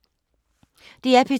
DR P2